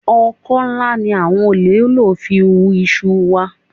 Ọkọ́ ńlá ni àwọn olè lò fi hú iṣu wa